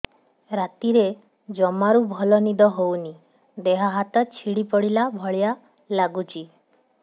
ରାତିରେ ଜମାରୁ ଭଲ ନିଦ ହଉନି ଦେହ ହାତ ଛିଡି ପଡିଲା ଭଳିଆ ଲାଗୁଚି